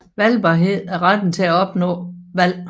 Valgbarhed er retten til at opnå valg